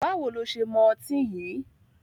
Báwo lo ṣe mọ ọtí yìí?